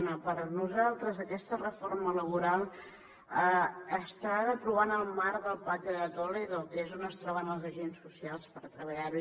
una per nosaltres aquesta reforma laboral s’ha de trobar en el marc del pacte de toledo que és on es troben els agents socials per treballar ho